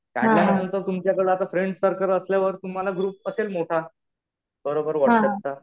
काढल्यानंतर आता तुमच्याकडे फ्रेंड सर्कल असल्यावर तुम्हाला ग्रुप असेल मोठा. बरोबर. व्हाट्सअप चा.